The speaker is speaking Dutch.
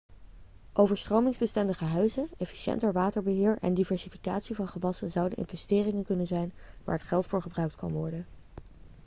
overstromingsbestendige huizen efficiënter waterbeheer en diversificatie van gewassen zouden investeringen kunnen zijn waar het geld voor gebruikt kan worden